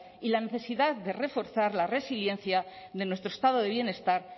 y la necesidad de reforzar la resiliencia de nuestro estado de bienestar